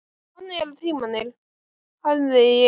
Þannig eru tímarnir, hefði ég sagt.